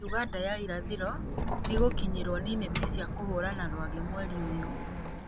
Uganda ya irathĩro nĩ ĩgũkinyĩrwo nĩ neti cia kũhũrana rwagĩ mweri ũyũ